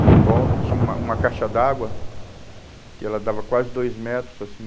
E em volta tinha uma uma caixa d'água que ela dava quase dois metros, assim.